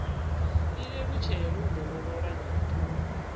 i lelutshele u dovholola nyito